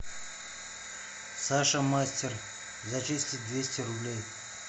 саша мастер зачислить двести рублей